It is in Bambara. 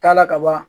Taa la kaban